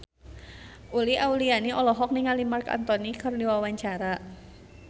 Uli Auliani olohok ningali Marc Anthony keur diwawancara